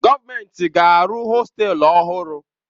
Gọọmentị ga-arụ hostelu ọhụrụ.